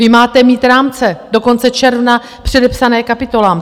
Vy máte mít rámce do konce června předepsané kapitolám!